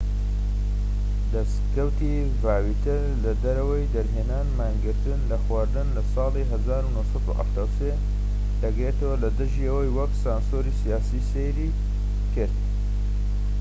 دەسکەوتی ڤاوتیەر لە دەرەوەی دەرهێنان مانگرتن لە خواردن لە ساڵی 1973 دەگرێتەوە لە دژی ئەوەی وەک سانسۆری سیاسی سەیری کرد